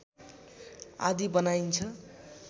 आदि बनाइन्छ